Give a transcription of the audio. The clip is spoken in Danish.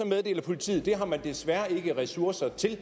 meddeler politiet at det har man desværre ikke ressourcer til at